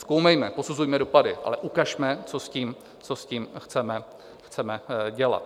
Zkoumejme, posuzujme dopady, ale ukažme, co s tím chceme dělat.